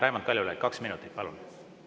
Raimond Kaljulaid, kaks minutit, palun!